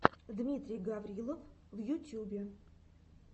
дмитрий гаврилов в ютьюбе